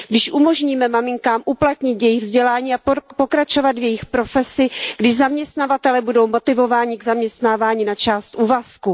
Když umožníme maminkám uplatnit jejich vzdělání a pokračovat v jejich profesi, když zaměstnavatelé budou motivováni k zaměstnávání na částečný úvazek.